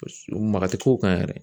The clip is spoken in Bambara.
O s maga te k'o kan yɛrɛ.